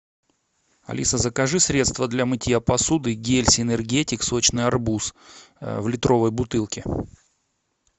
алиса закажи средство для мытья посуды гель синергетик сочный арбуз в литровой бутылке